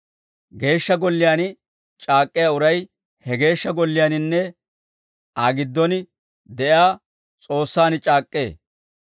Geeshsha Golliyaan c'aak'k'iyaa uray, he Geeshsha Golliyaaninne Aa giddon de'iyaa S'oossaan c'aak'k'ee.